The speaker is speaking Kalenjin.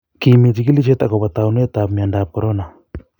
kimi chikilishet akopo taunetab miandoab korona